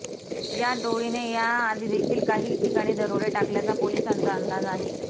या टोळीने याआधीदेखील काही ठिकाणी दरोडे टाकल्याचा पोलिसांचा अंदाज आहे